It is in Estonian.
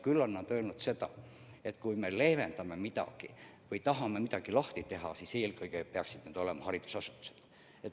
Küll on nad öelnud ka seda, et kui me leevendame midagi või tahame midagi lahti teha, siis eelkõige peaksid need olema haridusasutused.